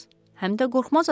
həm də qorxmaz adamsız.